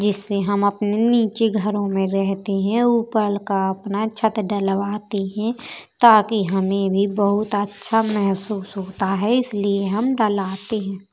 जिससे हम अपने नीचे घरों में रहते हैं ऊपर का अपना छत ढलवाते है ताकि हमें भी बहोत अच्छा महसूस होता है इसलिए हम ढलाते हैं।